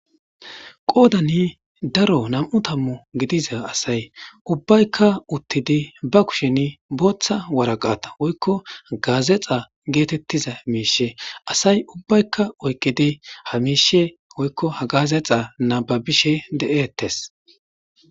qoodani daro nam7u tammu gidiza asay ubbaykka uttidi ba kushen booththa waraqata woykko gaazexa geetettiza miishe asay ubbaykka oykkidi ha miishe woykko ha gaazexa nababishe de7eettes